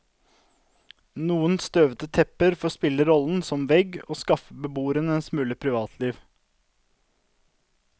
Noen støvete tepper får spille rollen som vegg og skaffe beboerne en smule privatliv.